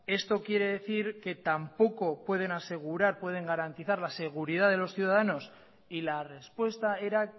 esto quiere decir que tampoco pueden asegurar pueden garantizar la seguridad de los ciudadanos y la respuesta era